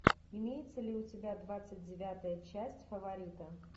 имеется ли у тебя двадцать девятая часть фаворита